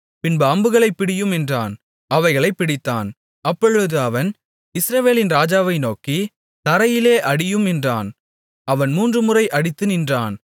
பின்பு அம்புகளைப் பிடியும் என்றான் அவைகளைப் பிடித்தான் அப்பொழுது அவன் இஸ்ரவேலின் ராஜாவை நோக்கி தரையிலே அடியும் என்றான் அவன் மூன்றுமுறை அடித்து நின்றான்